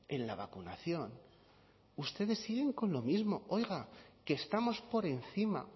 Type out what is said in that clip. en la vacunación ustedes siguen con lo mismo oiga que estamos por encima